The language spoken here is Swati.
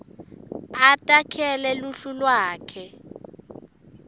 atakhele luhlu lwakhe